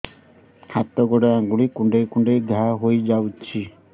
ହାତ ଗୋଡ଼ ଆଂଗୁଳି କୁଂଡେଇ କୁଂଡେଇ ଘାଆ ହୋଇଯାଉଛି